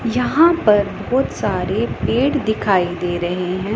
यहां पर बहोत सारे पेड़ दिखाई दे रहे हैं।